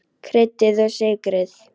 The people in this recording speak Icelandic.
Kryddið og sykrið.